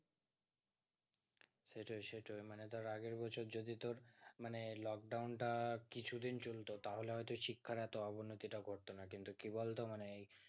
সেটোই সেটোই মানে ধরে আগের বছর যদি তোর মানে lockdown টা কিছু দিন চলতো তাহলে হয়তো শিক্ষার অটো অবনতি টা ঘটো না কিন্তু কি বলতো মানে